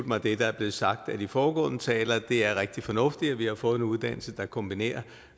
mig det der er blevet sagt af de foregående talere det er rigtig fornuftigt at vi har fået en uddannelse der kombinerer